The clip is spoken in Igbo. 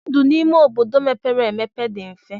Ndụ n'ime obodo mepere emepe dị mfe.